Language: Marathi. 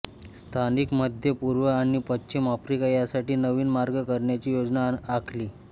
स्थानिक मध्य पूर्व आणि पश्चिम आफ्रिका यासाठी नवीन मार्ग करण्याची योजना आखली